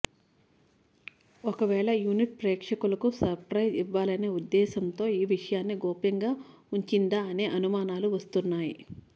ఒకవేళ యూనిట్ ప్రేక్షకులకు సప్రైజ్ ఇవ్వాలనే ఉద్దేశ్యంతో ఈ విషయాన్ని గోప్యంగా ఉంచిందా అనే అనుమానాలు వస్తున్నాయి